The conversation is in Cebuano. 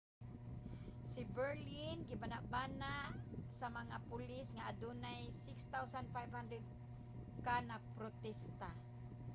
sa berlin gibanabana sa mga pulis nga adunay 6,500 ka nagprotesta